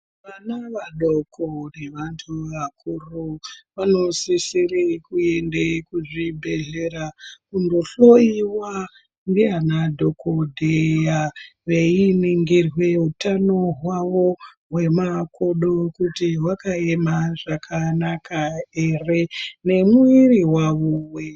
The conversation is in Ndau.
Vana vadoko nevantu vakuru vanosisire kuende kuzvibhedhlera kundohloyiwa ndiana dhokodheya veiningirwe utano hwavo hwemakodo kuti hwakaema zvakanaka ere nemuviri wavo weshe.